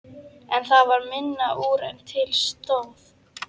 En það varð minna úr en til stóð.